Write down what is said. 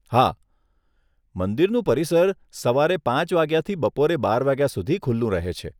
હા. મંદિરનું પરિસર સવારે પાંચ વાગ્યાથી બપોરે બાર વાગ્યા સુધી ખુલ્લું રહે છે.